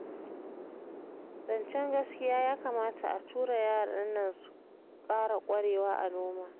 Zancen gaskiya ya kamata a tura yaran nan su ƙara ƙwarewa a noma